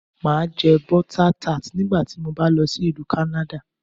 Màá jẹ́ Butter Tart nígbà tí mo bá lọ sí Ìlú kánádà